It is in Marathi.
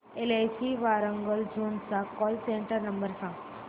एलआयसी वारांगल झोन चा कॉल सेंटर नंबर सांग